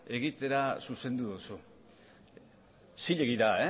egitera zuzendu duzu zilegi da